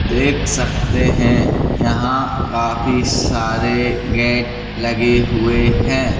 देख सकते हैं यहां काफी सारे गेट लगे हुए हैं।